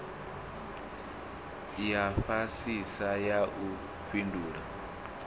ya fhasisa ya u fhindula